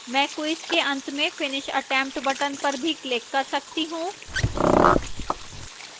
मैं quiz के अंत में finish attempt button पर भी click कर सकती हूँ